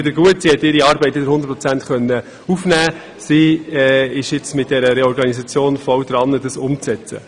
Ihr geht es wiedergut, sie konnte ihre Arbeit wieder zu 100 Prozent aufnehmen und ist dabei, die Reorganisation umzusetzen.